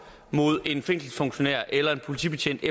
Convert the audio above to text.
mod en fængselsfunktionær eller en politibetjent i